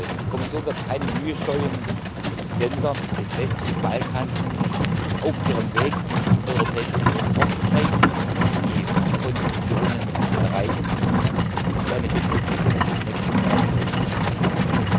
Die Kommission wird keine Mühe scheuen, die Länder des westlichen Balkans dabei zu unterstützen, auf ihrem Weg in die Europäische Union fortzuschreiten, die Konditionen zu erreichen und so eine bessere Zukunft für die nächsten Generationen zu sichern.